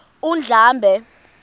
undlambe